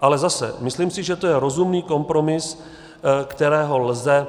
Ale zase si myslím, že to je rozumný kompromis, kterého lze